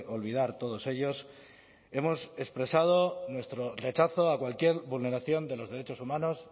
olvidar todos ellos hemos expresado nuestro rechazo a cualquier vulneración de los derechos humanos